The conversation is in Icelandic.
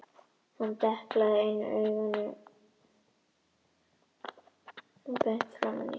Hann deplaði enn augunum einsog björtu ljósi hefði fyrirvaralaust verið beint framan í hann.